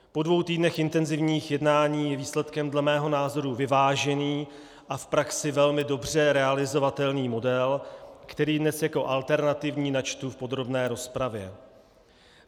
Po dvou týdnech intenzivních jednání je výsledkem dle mého názoru vyvážený a v praxi velmi dobře realizovatelný model, který dnes jako alternativní načtu v podrobné rozpravě.